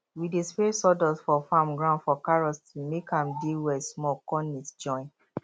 we dey spread sawdust for farm ground for carrots to make am dey wet small con neat join